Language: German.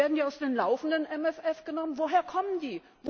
Werden die aus dem laufenden MFR genommen? Woher kommen die?